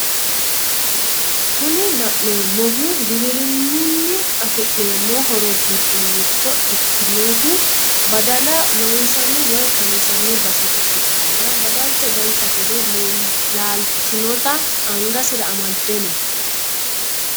kuni la'nnemmohu giwirinunni afi'neemo horo giddo mitto ikkinohu badala loonsanni woy kansanni base ikkitanna badalcho dance gede laaltinota angasira amadeno.